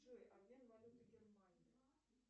джой обмен валюты германии